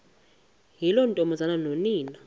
yiloo ntombazana nonina